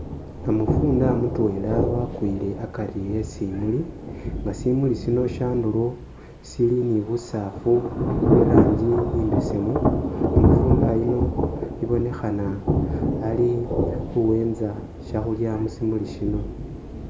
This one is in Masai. Namufunda mutwela wakwile akari e'simuli nga simuli sino andulo sili ni busasfu bwe iranji imbesemu namufunda yuuno sibonekhana ali khuyiima shekhulya musimulu sino